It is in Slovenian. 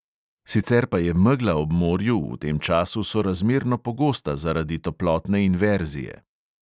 Sicer pa je megla ob morju v tem času sorazmerno pogosta zaradi toplotne inverzije.